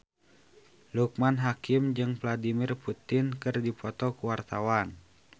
Loekman Hakim jeung Vladimir Putin keur dipoto ku wartawan